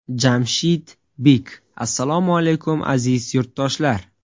Jamshid Bik Assalomu alaykum, aziz yurtdoshlar.